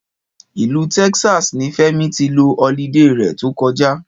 Ìlú Texas ni Fẹ́mi ti lo olidé rẹ̀ tó kọjá